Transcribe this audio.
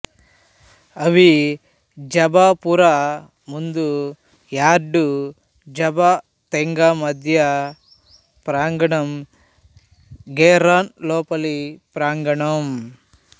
అవి జబా పురా ముందు యార్డ్ జబా తెంగా మధ్య ప్రాంగణం గెరాన్ లోపలి ప్రాంగణం